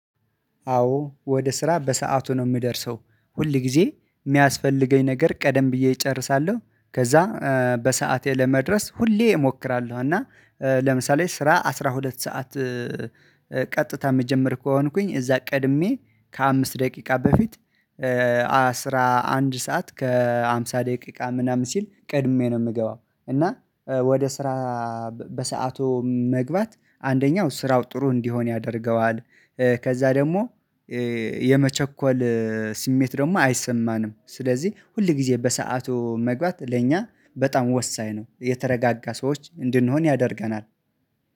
አዎ ወደ ስራ በሰአቱ ነው የምደርሰው ሁል ጊዜ የሚያስፈልገኝ ነገር ቀደም ብዬ እጨርሳለሁ። ከዛ በሰአቴ ለመድረስ ሁሌ እሞክራለሁ። እና ለምሳሌ ስራ አስራ ሁለት ሰዓት ቀጥታ የምጀምር ከሆንኩኝ እዛ ቀድሜ ከአምስት ደቂቃ በፊት አስራ አንድ ሰዓት ከአምሳ ደቂቃ ምናምን ሲል ቀድሜ ነው የምገባው። እና ወደ ስራ በሰአቱ መግባት አንደኛው ስራው ጥሩ እንዲሆን ያደርገዋል። ከዛ ደግሞ የመቸኮል ስሜት ደግሞ አይሰማንም ስለዚህ ሁል ጊዜ በሰአቱ መግባት ለእኛ በጣም ወሳኝ ነው የተረጋጋ ሰዎች እንድንሆን ያደርገናል።